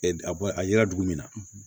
A yera dugu min na